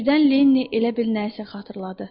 Birdən Lenni elə bil nəsə xatırladı.